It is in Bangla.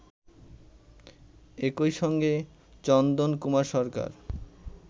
একইসঙ্গে চন্দন কুমার সরকার